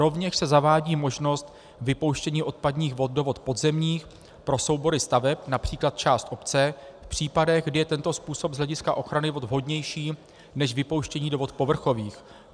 Rovněž se zavádí možnost vypouštění odpadních vod do vod podzemních pro soubory staveb, například část obce, v případech, kdy je tento způsob z hlediska ochrany vod vhodnější než vypouštění do vod povrchových.